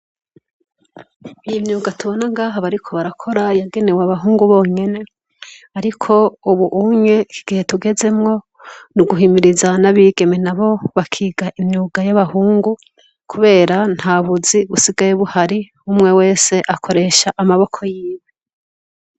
Iye imyuga tubona gaha bariko barakora yagenewe abahungu bonyene, ariko, ubu umye kigihe tugezemwo ni uguhimiriza n'abigeme na bo bakiga imyuga y'abahungu, kubera nta buzi busigaye buhari umwe wese akoresha amaboko yiwe.